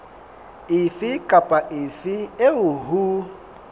efe kapa efe eo ho